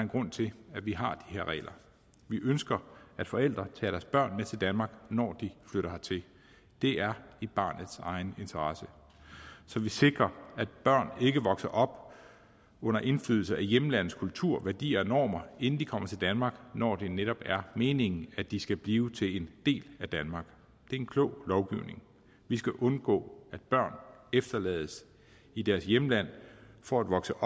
grund til at vi har de her regler vi ønsker at forældre tager deres børn med til danmark når de flytter hertil det er i barnets egen interesse så vi sikrer at børn ikke vokser op under indflydelse af hjemlandets kultur værdier og normer inden de kommer til danmark når det netop er meningen at de skal blive en del af danmark det er en klog lovgivning vi skal undgå at børn efterlades i deres hjemland for at vokse